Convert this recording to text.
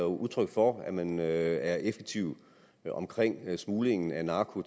udtryk for at man er effektiv i smuglingen af narko